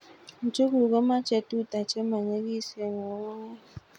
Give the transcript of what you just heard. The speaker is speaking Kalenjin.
Njuguk ko mache tuta che ma nyigisen ng'un'unyek